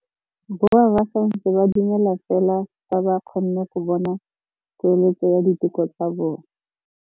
Borra saense ba dumela fela fa ba kgonne go bona poeletsô ya diteko tsa bone.